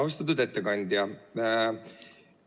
Austatud ettekandja!